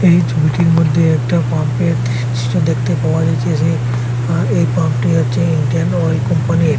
এই ছবিটির মধ্যে একটা পাম্পের দৃশ্য দেখতে পাওয়া যাইতেছে সেই আর এই পাম্পটি হচ্ছে ইন্ডিয়ান অয়েল কোম্পানির।